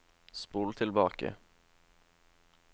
spol tilbake